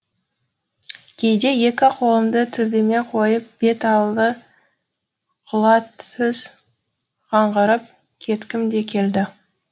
кейде екі қолымды төбеме қойып бет алды құла түз қаңғырып кеткім де келді